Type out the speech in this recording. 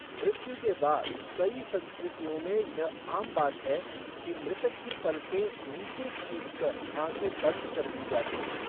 मृत्यु के बाद, कई संस्कृतियों में यह आम बात है कि मृतक की पलकें नीचे खींचकर आंखें बंद कर दी जाती हैं।